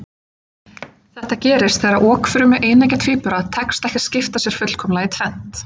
Þetta gerist þegar okfrumu eineggja tvíbura tekst ekki að skipta sér fullkomlega í tvennt.